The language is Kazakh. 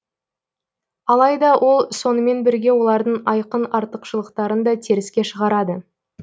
алайда ол сонымен бірге олардың айқын артықшылықтарын да теріске шығарады